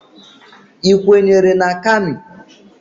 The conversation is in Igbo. Ị kwenyere na Kami?